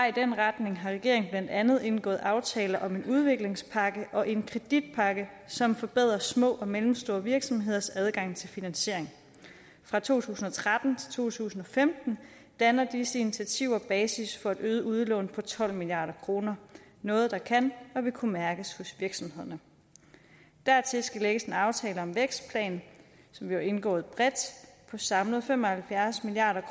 i den retning har regeringen blandt andet indgået aftale om en udviklingspakke og en kreditpakke som forbedrer små og mellemstore virksomheders adgang til finansiering fra to tusind og tretten til to tusind og femten danner disse initiativer basis for et øget udlån på tolv milliard kroner noget der kan og vil kunne mærkes hos virksomhederne dertil skal lægges en aftale om vækstplan som jo er indgået bredt på samlet fem og halvfjerds milliard